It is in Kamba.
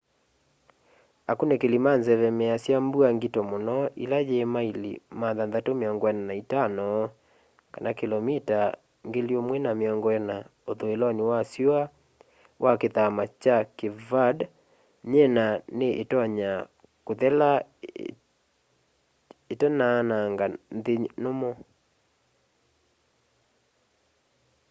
akunikili ma nzeve measya mbua ngito mũno ila yi maili 645 kĩlomita 1040 ũthũĩlonĩ wa syũa wa kithama kya cape verde nyina ni itonya kũthela itanaanang'a nthi nũmũ